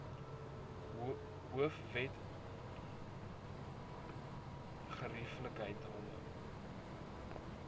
hoofwet gerie ikheidshalwe